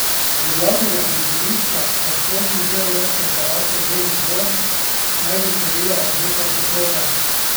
Do glavnega prizorišča, razkošne beograjske palače Beli dvor, naj bi se vila rdeča preproga.